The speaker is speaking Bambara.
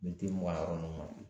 Militi mugan yɔrɔ nun na